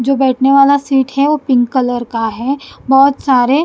जो बैठने वाला सीट है वो पिंक कलर का है बहुत सारे --